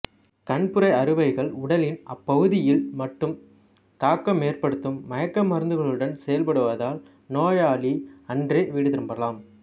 கண்புரை அறுவைகள் உடலின் அப்பகுதியில் மட்டும் தாக்கமேற்படுத்தும் மயக்க மருந்துகளுடன் செய்யப்படுவதால் நோயாளி அன்றே வீடு திரும்பலாம்